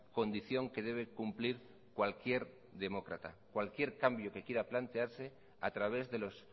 condición que debe cumplir cualquier demócrata cualquier cambio que quiera plantearse a través de los